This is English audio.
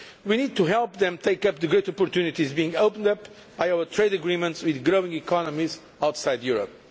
We need to help them to take up the great opportunities being opened up by our trade agreements with growing economies outside Europe.